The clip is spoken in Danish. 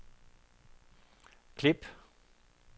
klip